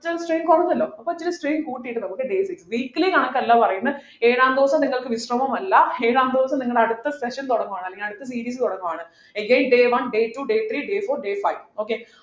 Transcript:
strain കുറഞ്ഞല്ലോ അപ്പൊ ഇത്തിരി strain കൂട്ടിയിട്ട് നമുക്ക് weekly കണക്കല്ല പറയുന്നത് ഏഴാം ദിവസം നിങ്ങൾക്ക് വിശ്രമമല്ല ഏഴാം ദിവസം നിങ്ങൾ അടുത്ത session തുടങ്ങുവാണ് അല്ലെങ്കിൽ അടുത്ത series തുടങ്ങുകയാണ് again day one day two day three day four day five okay